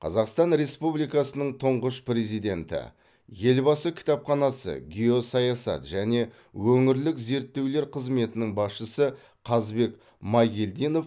қазақстан республикасының тұңғыш президенті елбасы кітапханасы геосаясат және өңірлік зерттеулер қызметінің басшысы қазбек майгелдинов